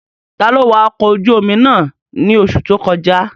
Taló wa ọkọ̀ ojú-omi náà ní oṣù tó kọjá?